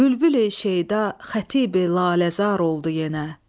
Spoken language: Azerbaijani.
Bülbüli şeyda xətibi Laləzar oldu yenə.